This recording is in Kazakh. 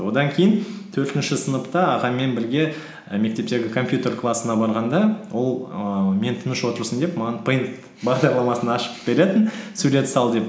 одан кейін төртінші сыныпта ағамен бірге і мектептегі компьютер классына барғанда ол ііі мен тыныш отырсын деп маған пэйнт бағдарламасын ашып беретін сурет сал деп